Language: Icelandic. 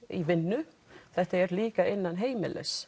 í vinnu þetta er líka innan heimilis